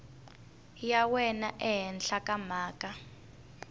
ya wena ehenhla ka mhaka